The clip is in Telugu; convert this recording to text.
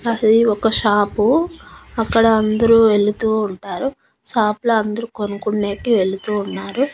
అది ఒక షాపు అక్కడ అందరూ ఎళుతూ ఉంటారు షాప్ లా అందరు కొనుక్కునేకి వెళుతూ ఉన్నారు.